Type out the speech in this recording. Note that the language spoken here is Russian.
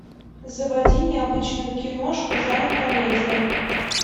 заводи необычную киношку жанр комедия